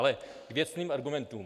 Ale k věcným argumentům.